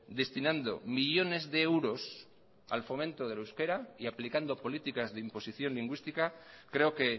destinando millónes de euros al fomento del euskera y aplicando políticas de imposición lingüística creo que